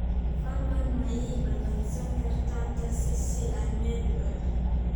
fadlan ma ii ballansan kartaa tagsi si aan meel u aado